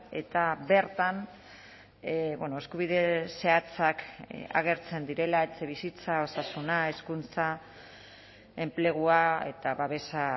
eta bertan eskubide zehatzak agertzen direla etxebizitza osasuna hezkuntza enplegua eta babesa